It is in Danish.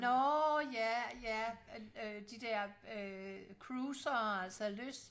Nårh ja ja øh de der øh cruisere altså lyst